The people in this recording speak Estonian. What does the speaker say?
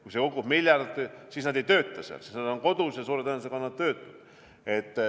Kui see kukub miljard, siis nad ei tööta seal, siis nad on kodus ja suure tõenäosusega on nad töötud.